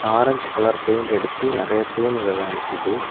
Orange colour paint அடிச்சு நறையா தூண்கயெல்லா நிக்குது.